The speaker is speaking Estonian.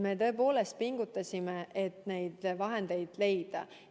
Me tõepoolest pingutasime, et neid vahendeid leida.